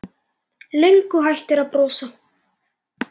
Löngu hættur að brosa.